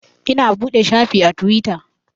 Ina buɗe shafi a Tiwita